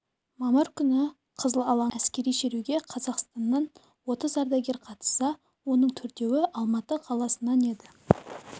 мамыр күні қызыл алаңда өткен әскери шеруге қазақстаннан отыз ардагер қатысса оның төртеуі алматы қаласынан еді